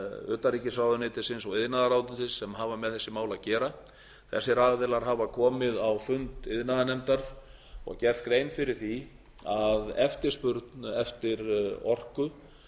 utanríkisráðuneytisins og iðnaðarráðuneytisins sem hafa með þessi mál að gera þessir aðilar hafa komið á fund iðnaðarnefndar og gert grein fyrir því að eftirspurn eftir orku